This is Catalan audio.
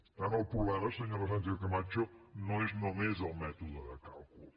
per tant el problema senyora sánchez camacho no és només el mètode de càlcul